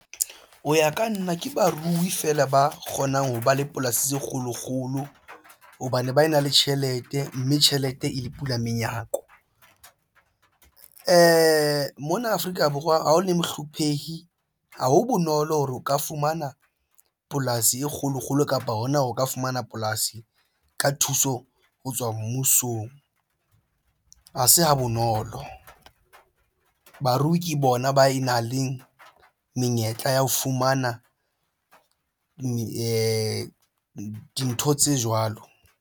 Ho ya ka nna ke barui feela ba kgonang ho ba le polasi tse kgolo kgolo hobane ba na le tjhelete, mme tjhelete e le pula menyako . Mona Afrika Borwa ha o le mohlophehi ha ho bonolo hore o ka fumana polasi e kgolo kgolo kapa hona o ka fumana polasi ka thuso ho tswa mmusong ha se ha bonolo. Barui ke bona ba nang le menyetla ya ho fumana dintho tse jwalo.